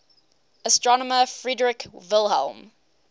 astronomer friedrich wilhelm